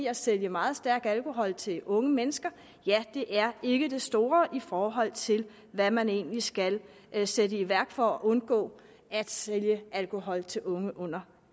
at sælge meget stærk alkohol til unge mennesker det er ikke det store i forhold til hvad man egentlig skal sætte i værk for at undgå at sælge alkohol til unge under